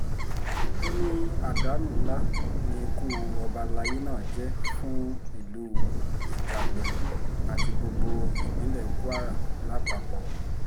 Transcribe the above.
ó ní àdánù ńlá ni ikú ọba alayé náà jẹ́ fún ìlú ijagbó àti gbogbo ìpínlẹ̀ kwara lápapọ̀